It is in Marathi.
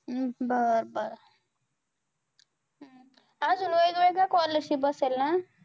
बर बर हम्म आज वेगवेगळ scholarship असेल ना?